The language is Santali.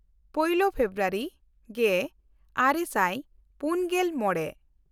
ᱯᱳᱭᱞᱳ ᱯᱷᱮᱵᱨᱩᱣᱟᱨᱤ ᱜᱮᱼᱟᱨᱮ ᱥᱟᱭ ᱯᱩᱱᱜᱮᱞ ᱢᱚᱢᱮ